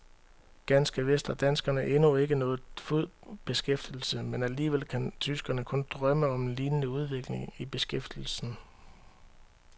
Ganske vist har danskerne endnu ikke nået fuld beskæftigelse, men alligevel kan tyskerne kun drømme om en lignende udvikling i beskæftigelsen.